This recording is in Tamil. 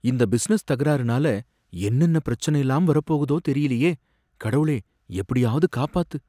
இந்த பிசினஸ் தகராறுனால என்னென்ன பிரச்சனைலாம் வரப்போகுதோ தெரியலயே, கடவுளே! எப்படியாவது காப்பாத்து